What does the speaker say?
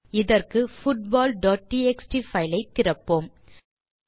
அதற்கு football dot TXT file ஐ திறப்போம்